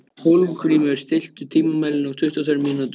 Hólmgrímur, stilltu tímamælinn á tuttugu og tvær mínútur.